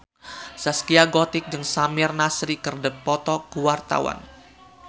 Zaskia Gotik jeung Samir Nasri keur dipoto ku wartawan